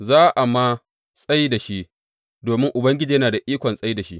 Za a ma tsai da shi, domin Ubangiji yana da ikon tsai da shi.